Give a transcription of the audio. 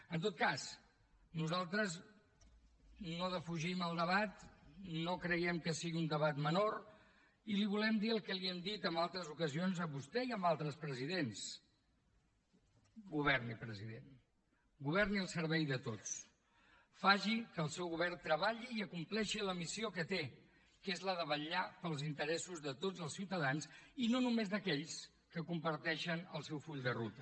en tot cas nosaltres no defugim el debat no creiem que sigui un debat menor i li volem dir el que li hem dit en altres ocasions a vostè i a altres presidents governi president governi al servei de tots faci que el seu govern treballi i acompleixi la missió que té que és la de vetllar pels interessos de tots els ciutadans i no només d’aquells que comparteixen el seu full de ruta